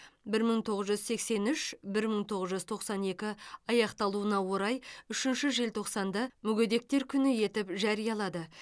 бір мың тоғыз жүз сексен үш бір мың тоғыз жүз тоқсан екі аяқталуына орай үшінші желтоқсанды мүгедектер күні етіп жариялады